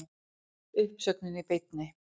Uppsögnin í beinni